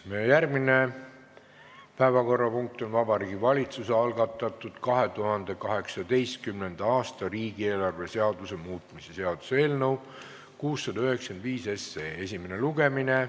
Meie järgmine päevakorrapunkt on Vabariigi Valitsuse algatatud 2018. aasta riigieelarve seaduse muutmise seaduse eelnõu 695 esimene lugemine.